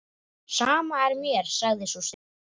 Sama er mér, sagði sú stutta.